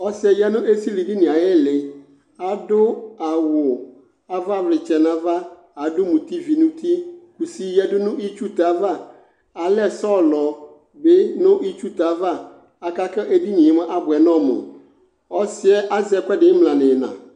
Ɔsɩ yɛ ya nʋ esilidini yɛ ayʋ ɩɩlɩ Adʋ awʋ avavlɩtsɛ nʋ ava adʋ mutivi nʋ uti Kusi yǝdu nʋ itsutɛ ava Alɛ sɔlɔ bɩ nʋ itsutɛ ava aka kʋ edini yɛ mʋa abʋɛ nʋ ɔmʋ Ɔsɩ yɛ azɛ ɛkʋɛdɩ ɩmla nʋ ɩɣɩna